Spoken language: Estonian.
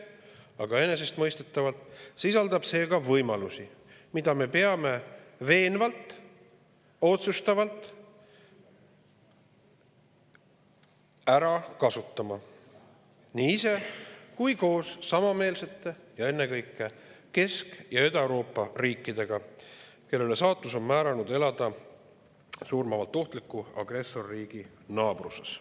Aga enesestmõistetavalt sisaldab see ka võimalusi, mida me peame veenvalt ja otsustavalt ära kasutama nii ise kui ka koos samameelsete riikidega, ennekõike Kesk- ja Ida-Euroopa riikidega, kellele saatus on määranud elada surmavalt ohtliku agressorriigi naabruses.